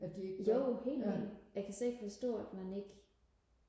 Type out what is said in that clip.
jo helt vildt jeg kan slet ikke forstå at man ikke